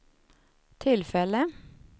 tillfälle